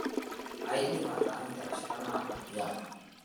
Aidipa ataanyu terishata naado tiang'.